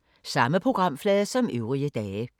Samme programflade som øvrige dage